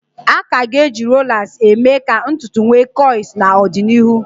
A ka ga-eji rolas emee ka ntutu wee kọịls n'ọdịnịhụ